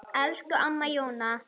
Elsku Amma Jóna.